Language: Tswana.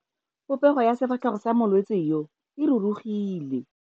Popego ya sefatlhego sa molwetse yo, e rurugile.